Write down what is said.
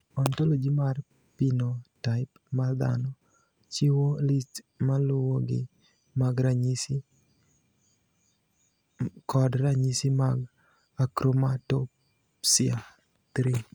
Ontoloji mar Pinotaip mar Dhano chiwo list maluwogi mag ranyisi kod ranyisi mag Akromatopsia 3.